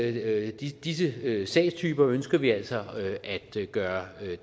i alle disse sagstyper ønsker vi altså at gøre